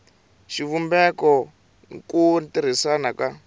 xivumbeko n ku tirhisiwa ka